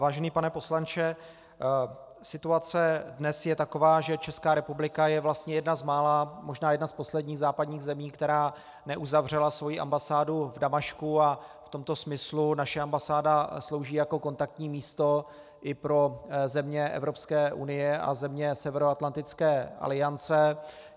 Vážený pane poslanče, situace dnes je taková, že Česká republika je vlastně jedna z mála, možná jedna z posledních západních zemí, která neuzavřela svoji ambasádu v Damašku, a v tomto smyslu naše ambasáda slouží jako kontaktní místo i pro země Evropské unie a země Severoatlantické aliance.